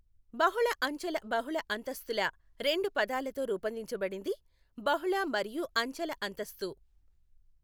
బహుళఅంచెల బహుళ అంతస్తుల రెండు పదాలతో రూపొందించబడింది బహుళ మరియు అంచెల అంతస్తు.